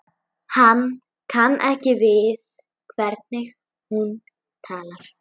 Hann kann ekki við hvernig hún talar.